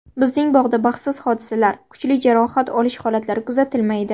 Bizning bog‘da baxtsiz hodisalar, kuchli jarohat olish holatlari kuzatilmaydi.